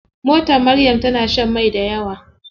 Motar Maryam tana shan mai dayawa.